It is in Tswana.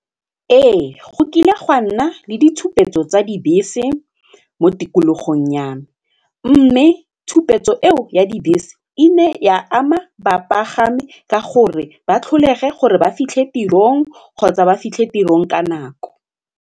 Ee go kile gwa nna le ditshupetso tsa dibese mo tikologong ya me mme tshupetso eo ya dibese e ne ya ama bapagami ka gore ba tlholege gore ba fitlhe tirong kgotsa ba fitlhe tirong ka nako.